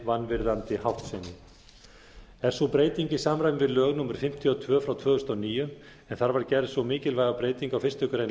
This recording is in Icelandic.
vanvirðandi háttsemi er sú breyting í samræmi við lög númer fimmtíu og tvö tvö þúsund og níu en þar var gerð sú mikilvæga breyting á fyrstu grein